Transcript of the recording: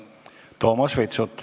Toomas Vitsut.